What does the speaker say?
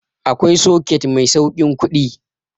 Akwai soket mai sauƙin kuɗi